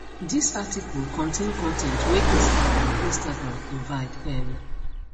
dis article contain con ten t wey instagram instagram provide um